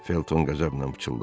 Felton qəzəblə pıçıldadı.